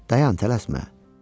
Dayan, tələsmə.